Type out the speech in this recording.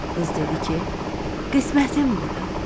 Qız dedi ki: Qismətim budur.